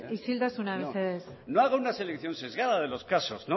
isiltasuna mesedez no haga una selección sesgada de los casos